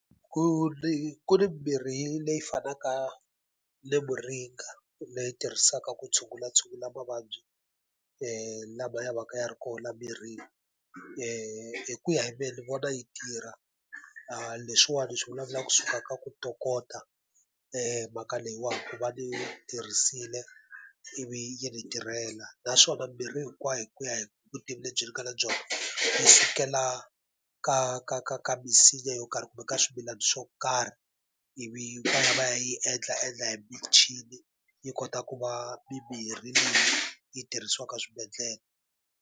Ku ni ku ri mimirhi leyi fanaka ni muringa leyi tirhisiwaka ku tshungulatshungula mavabyi lama ya va ka ya ri kona laha mirini, hi ku ya hi mina ni vona yi tirha. A leswiwani ni swi vulavulaka kusuka ka ku ntokota mhaka leyiwani va ni yi tirhisile ivi yi ni tirhela. Naswona mimirhi hinkwayo hi ku ya hi vutivi lebyi ni nga na byona, yi sukela ka ka ka ka misinya yo karhi kumbe ka swimilana swo karhi, ivi va yi endlaendla hi michini i kota ku va mimirhi leyi yi tirhisiwaka eswibedhlele.